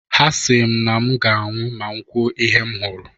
Ha si m na mu ga-anwụ ma m kwuo ihe m hụrụ.